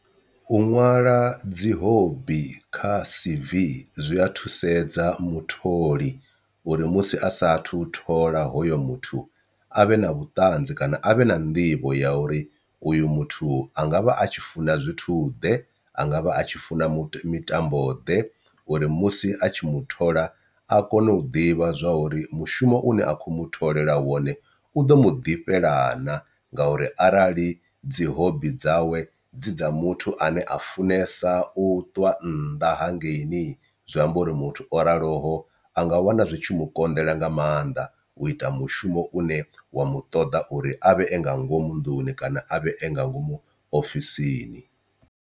U ṅwala dzi hobi kha C_V zwi a thusedza mutholi uri musi asathu thola hoyo muthu avhe na vhuṱanzi kana avhe na nḓivho ya uri uyo muthu angavha atshi funa zwithu ḓe, angavha atshi funa mitambo ḓe uri musi a tshi mu thola a kone u ḓivha zwa uri mushumo une a khou muṱhogomela wone u u ḓo mu ḓifhela naa. Ngauri arali dzi hobi dzawe dzi dza muthu ane a funesa u ṱwa nnḓa ha ngei ni zwi amba uri muthu o raloho anga wana zwi tshi mu konḓela nga maanḓa u ita mushumo une wa mu ṱoḓa uri avhe nga ngomu nḓuni kana avhe a nga ngomu ofisini.